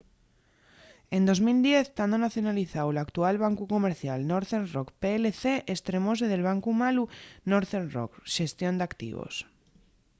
en 2010 tando nacionalizáu l’actual bancu comercial northern rock plc estremóse del bancu malu” northern rock xestión d’activos